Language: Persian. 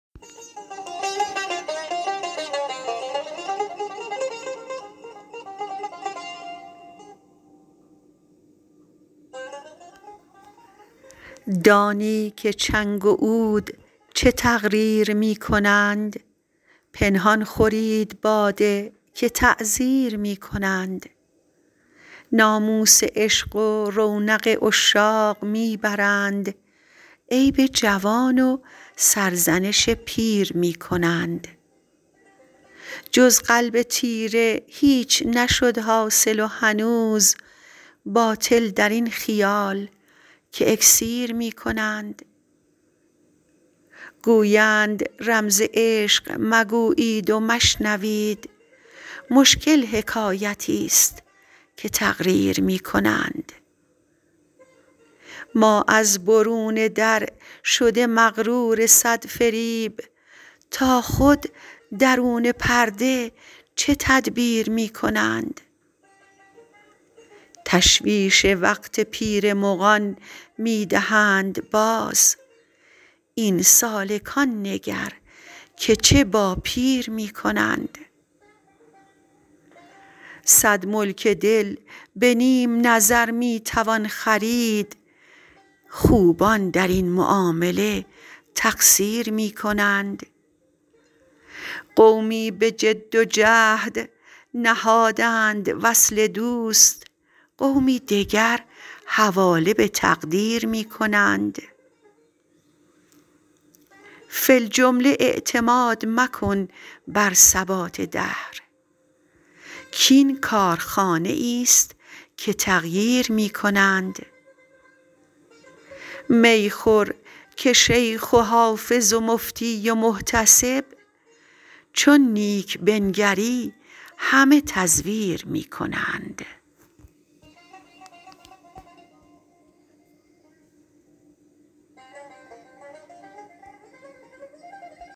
دانی که چنگ و عود چه تقریر می کنند پنهان خورید باده که تعزیر می کنند ناموس عشق و رونق عشاق می برند عیب جوان و سرزنش پیر می کنند جز قلب تیره هیچ نشد حاصل و هنوز باطل در این خیال که اکسیر می کنند گویند رمز عشق مگویید و مشنوید مشکل حکایتیست که تقریر می کنند ما از برون در شده مغرور صد فریب تا خود درون پرده چه تدبیر می کنند تشویش وقت پیر مغان می دهند باز این سالکان نگر که چه با پیر می کنند صد ملک دل به نیم نظر می توان خرید خوبان در این معامله تقصیر می کنند قومی به جد و جهد نهادند وصل دوست قومی دگر حواله به تقدیر می کنند فی الجمله اعتماد مکن بر ثبات دهر کـ این کارخانه ایست که تغییر می کنند می خور که شیخ و حافظ و مفتی و محتسب چون نیک بنگری همه تزویر می کنند